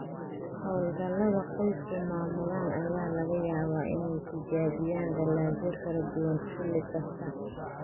Hawlgallada qoysku maamulaan ayaa laga yaabaa inay tijaabiyaan dalagyo kala duwan xilli kasta.